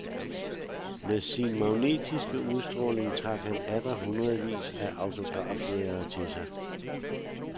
Med sin magnetiske udstråling trak han atter hundredevis af autografjægere til sig.